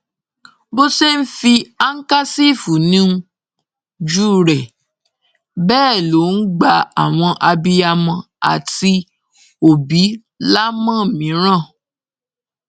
bó ṣe ń fi àǹkàṣìfì níjú rẹ bẹẹ ló ń gba àwọn abiyamọ àti òbí lámòmíràn